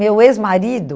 Meu ex-marido...